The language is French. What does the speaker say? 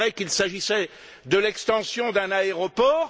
il est vrai qu'il s'agissait de l'extension d'un aéroport...